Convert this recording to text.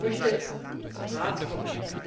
Ich möchte zum Rat kommen.